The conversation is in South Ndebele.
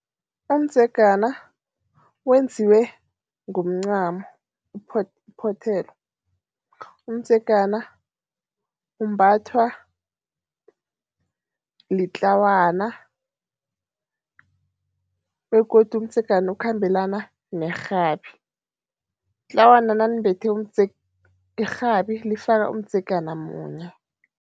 Umdzegana wenziwe ngomncamo, uphothelwe. Umdzegana umbathwa litlawana begodu umdzegana ukhambelana nerhabi. Itlawana nalimbethe irhabi lifaka umdzegana munye.